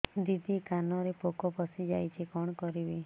ଦିଦି କାନରେ ପୋକ ପଶିଯାଇଛି କଣ କରିଵି